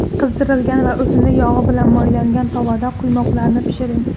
Qizdirilgan va o‘simlik yog‘i bilan moylangan tovada quymoqlarni pishiring.